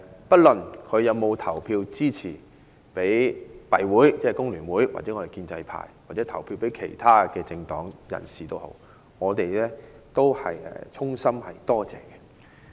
不論市民有否投票支持工聯會或建制派，或投票給其他政黨人士，我們都是衷心感謝。